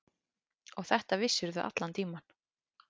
Og þetta vissirðu allan tímann.